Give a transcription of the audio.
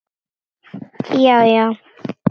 Já já.